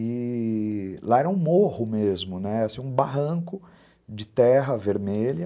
E... Lá era um morro mesmo, um barranco de terra vermelha.